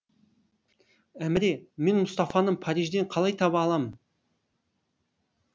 әміре мен мұстафаны парижден қалай таба алам